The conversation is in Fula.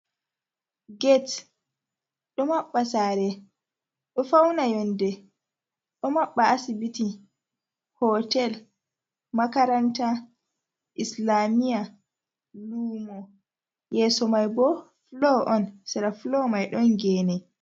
Get ɗo maɓɓa saare, ɗo fawna yonnde, ɗo maɓɓa asibiti, hootel, makaranta, islaamiya, luumo, yeso may bo fulo on, sera fulo may ɗon geene.